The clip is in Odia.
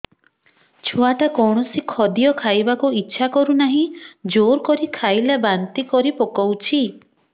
ଛୁଆ ଟା କୌଣସି ଖଦୀୟ ଖାଇବାକୁ ଈଛା କରୁନାହିଁ ଜୋର କରି ଖାଇଲା ବାନ୍ତି କରି ପକଉଛି